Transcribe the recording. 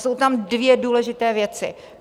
Jsou tam dvě důležité věci.